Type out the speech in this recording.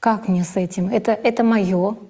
как мне с этим это это моё